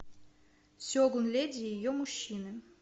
сегун леди и ее мужчины